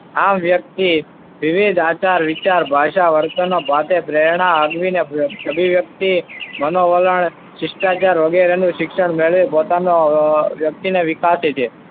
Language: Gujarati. આમ વ્યક્તિ વિવિધ આચાર, વિચાર, ભાષા, વર્તનના ભાગે પ્રેરણા લઈને અભિવ્યક્તિ, મનોવલણ, શિષ્ટાચાર વગેરેનું શિક્ષણ મેળવે પોતાનું વ્યક્તિને વિકાસે છે.